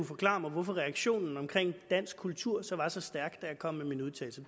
forklare mig hvorfor reaktionen på dansk kultur så var så stærk da jeg kom med min udtalelse